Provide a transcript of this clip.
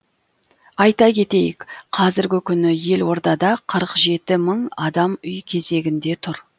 айта кетейік қазіргі күні елордада қырық жеті мың адам үй кезегінде тұр